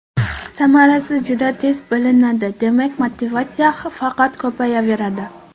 Samarasi juda tez bilinadi, demak motivatsiya faqat ko‘payaveradi.